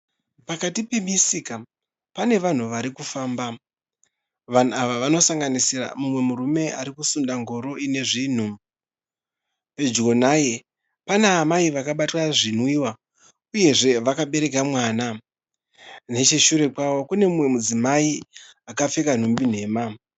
Pakati pemisika pane vanhu vari kufamba. Vanhu ava vanosanganisira mumwe murume ari kusunda ngoro ine zvinhu. Pedyo naye pana amai vakabata zvinwiwa uyezve vakabereka mwana. Necheshure kwavo kune mumwe mudzimai akapfeka nhumbi nhema.